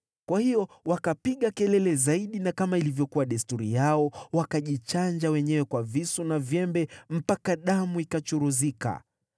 Kwa hiyo wakapiga kelele zaidi na kama ilivyokuwa desturi yao wakajichanja wenyewe kwa visu na vyembe, mpaka damu ikachuruzika.